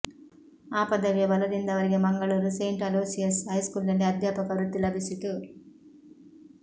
ಆ ಪದವಿಯ ಬಲದಿಂದ ಅವರಿಗೆ ಮಂಗಳೂರು ಸೆಂಟ್ ಅಲೋಸಿಯಸ್ ಹೈಸ್ಕೂಲಿನಲ್ಲಿ ಅಧ್ಯಾಪಕ ವೃತ್ತಿ ಲಭಿಸಿತು